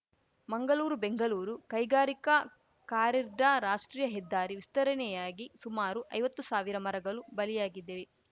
ಮಂಗಲೂರುಬೆಂಗಲೂರು ಕೈಗಾರಿಕಾ ಕಾರಿಡಾರ್‌ ರಾಷ್ಟ್ರೀಯ ಹೆದ್ದಾರಿ ವಿಸ್ತರಣೆಯಾಗಿ ಸುಮಾರು ಐವತ್ತು ಸಾವಿರ ಮರಗಲು ಬಲಿಯಾಗಿದ್ದವೆ